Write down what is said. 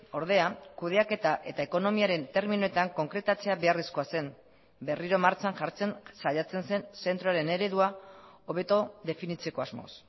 ordea kudeaketa eta ekonomiaren terminoetan konkretatzea beharrezkoa zen berriro martxan jartzen saiatzen zen zentroaren eredua hobeto definitzeko asmoz